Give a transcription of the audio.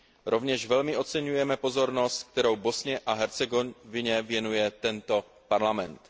Rovněž velmi oceňujeme pozornost, kterou Bosně a Hercegovině věnuje tento Parlament.